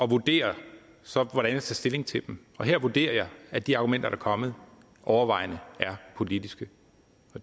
og vurderer så hvordan jeg stilling til dem og her vurderer jeg at de argumenter der er kommet overvejende er politiske